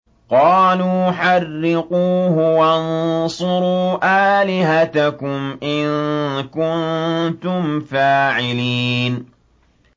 قَالُوا حَرِّقُوهُ وَانصُرُوا آلِهَتَكُمْ إِن كُنتُمْ فَاعِلِينَ